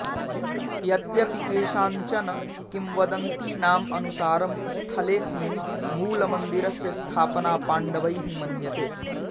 यद्यपि केषाञ्चन किंवदन्तीनाम् अनुसारं स्थलेऽस्मिन् मूलमन्दिरस्य स्थापना पाण्डवैः मन्यते